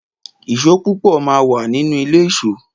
Ìsó púpọ̀ má wà nínú ilé ìsó